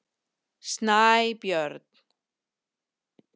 Snæbjörn